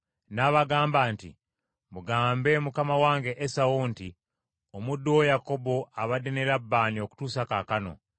N’abagamba nti, “Mugambe mukama wange Esawu nti, ‘Omuddu wo Yakobo abadde ne Labbaani okutuusa kaakano,